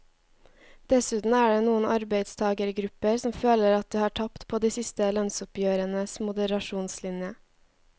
Dessuten er det noen arbeidstagergrupper som føler at de har tapt på de siste lønnsoppgjørenes moderasjonslinje.